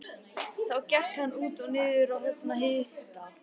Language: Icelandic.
Þá gekk hann út og niður á höfn að hitta